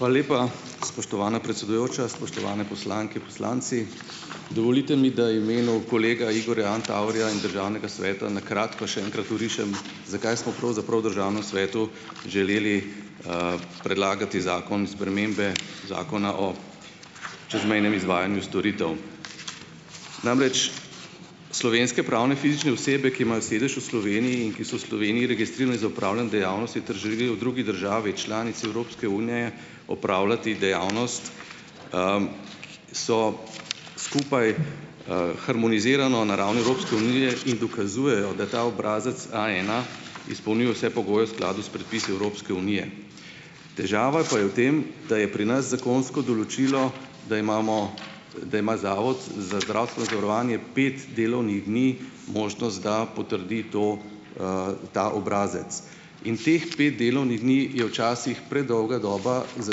Hvala lepa, spoštovana predsedujoča, spoštovane poslanke, poslanci! Dovolite mi, da imenu kolega Igorja Antaverja in državnega sveta na kratko še enkrat orišem, zakaj smo pravzaprav v državnem svetu želeli, predlagati zakon spremembe Zakona o čezmejnem izvajanju storitev. Namreč slovenske pravne fizične osebe, ki imajo sedež v Sloveniji in ki so v Sloveniji registrirani za opravljanje dejavnosti ter želijo v drugi državi članici Evropske unije opravljati dejavnost, so skupaj, harmonizirano na ravni Evropske unije in dokazujejo, da ta obrazec Aena izpolnjuje vse pogoje v skladu s predpisi Evropske unije. Težava pa je v tem, da je pri nas zakonsko določilo, da imamo, da ima zato za zdravstveno zavarovanje pet delovnih dni možnost, da potrdi to, ta obrazec. In teh pet delovnih dni je včasih predolga doba za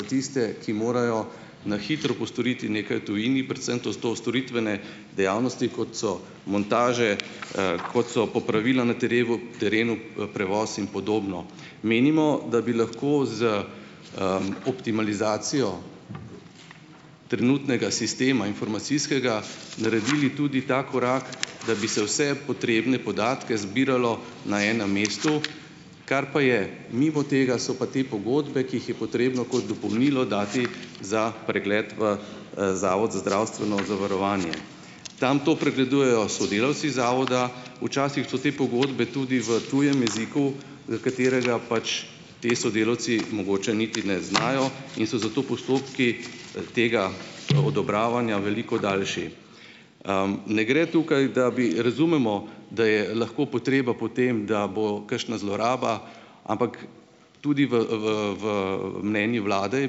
tiste, ki morajo na hitro postoriti nekaj v tujini, predvsem to storitvene dejavnosti, kot so montaže, kot so popravila na terevu terenu, prevoz in podobno. Menimo, da bi lahko z, optimalizacijo trenutnega sistema informacijskega naredili tudi ta korak, da bi se vse potrebne podatke zbiralo na enem mestu, kar pa je mimo tega so pa te pogodbe, ki jih je potrebno kot dopolnilo dati za pregled v, zavod za zdravstveno zavarovanje. Tam to pregledujejo sodelavci zavoda, včasih so te pogodbe tudi v tujem jeziku, katerega pač ti sodelavci mogoče niti ne znajo, in so zato postopki, tega, odobravanja veliko daljši. Ne gre tukaj, da bi. Razumemo, da je lahko potreba po tem, da bo kakšna zloraba, ampak tudi v v v, mnenju vlade je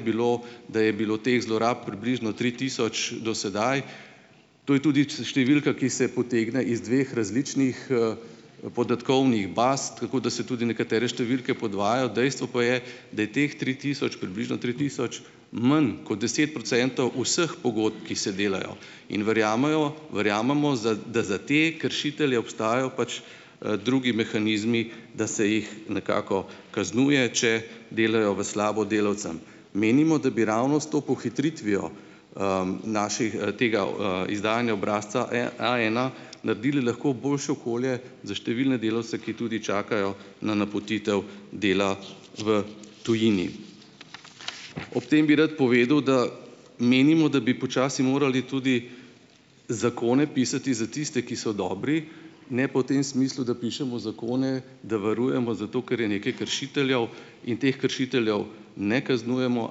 bilo, da je bilo teh zlorab približno tri tisoč do sedaj, to je tudi številka, ki se potegne iz dveh različnih, podatkovnih baz, tako da se tudi nekatere številke podvajajo, dejstvo pa je, da je teh tri tisoč približno tri tisoč manj kot deset procentov vseh pogodb, ki se delajo, in verjamejo, verjamemo za, da za te kršitelje obstajajo pač, drugi mehanizmi, da se jih nekako kaznuje, če delajo v slabo delavcem. Menimo, da bi ravno s to pohitritvijo, naših, tega, izdajanja obrazca Aena naredili lahko boljše okolje za številne delavce, ki tudi čakajo na napotitev dela v tujini. Ob tem bi rad povedal, da menimo, da bi počasi morali tudi zakone pisati za tiste, ki so dobri, ne pa v tem smislu, da pišemo zakone, da varujemo zato, ker je nekaj kršiteljev in teh kršiteljev ne kaznujemo,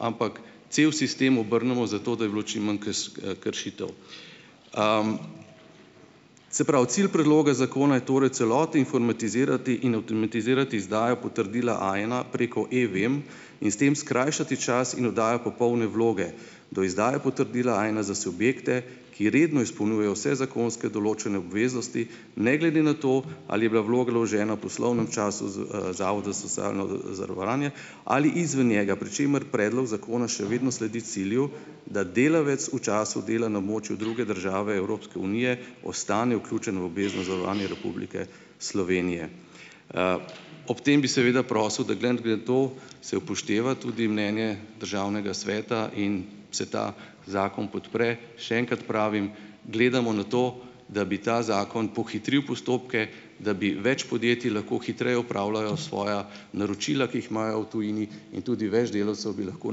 ampak cel sistem obrnemo zato, da bi bilo čim manj kršitev. Se pravi, cilj predloga zakona je torej v celoti informatizirati in avtomatizirati izdajo potrdila Aena preko Evem in s tem skrajšati čas in oddajo popolne vloge do izdaje potrdila Aena za subjekte, ki redno izpolnjujejo vse zakonske določene obveznosti, ne glede na to, ali je bila vloga vložena v poslovnem času zavoda za socialno, zavarovanje ali izven njega, pri čemer predlog zakona še vedno sledi cilju, da delavec v času dela na območju druge države Evropske unije ostane vključen v obvezno zavarovanje Republike Slovenije. Ob tem bi seveda prosil, da glede na tudi to se upošteva tudi mnenje državnega sveta in se ta zakon podpre, še enkrat pravim, gledamo na to, da bi ta zakon pohitril postopke, da bi več podjetij lahko hitreje opravljalo svoja naročila, ki jih imajo v tujini, in tudi več delavcev bi lahko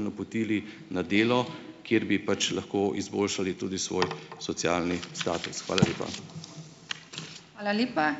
napotili na delo, kjer bi pač lahko izboljšali tudi svoj socialni status. Hvala lepa.